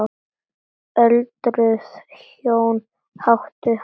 Öldruð hjón áttu hann.